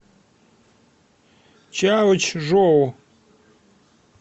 чаочжоу